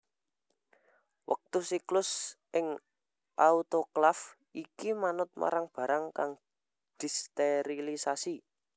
Wektu siklus ing autoklaf iki manut marang barang kang disterilisasi